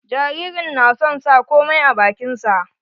Jaririn na son sa komai a bakin sa.